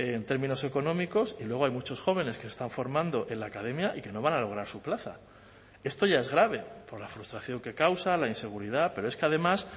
en términos económicos y luego hay muchos jóvenes que están formando en la academia y que no van a lograr su plaza esto ya es grave por la frustración que causa la inseguridad pero es que además